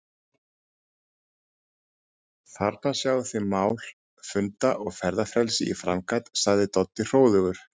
Þarna sjáið þið mál- funda- og ferðafrelsið í framkvæmd sagði Doddi hróðugur.